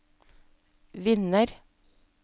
vinner